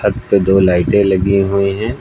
छत पे दो लाइटे लगी हुई है।